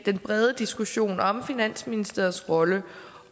den brede diskussion om finansministeriets rolle